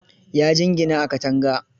Ya jingina a katanga.